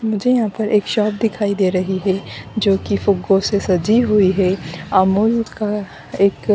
मुझे यहां पर एक शॉप दिखाई दे रही है जो की फूगो से सजी हुई है अमूल का एक--